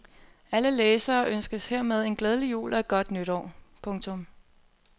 Alle læsere ønskes hermed en glædelig jul og et godt nytår. punktum